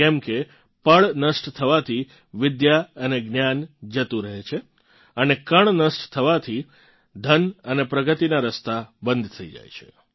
કેમકે પળ નષ્ટ થવાથી વિદ્યા અને જ્ઞાન જતુ રહે છે અને કણ નષ્ટ થવાથી ધન અને પ્રગતિનાં રસ્તા બંધ થઇ જાય છે